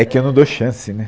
É que eu não dou chance, né?